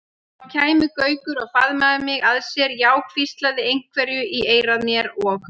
Þá kæmi Gaukur og faðmaði mig að sér, já hvíslaði einhverju í eyra mér og.